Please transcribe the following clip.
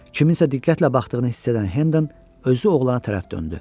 Kiminsə diqqətlə baxdığını hiss edən Hendən özü oğlana tərəf döndü.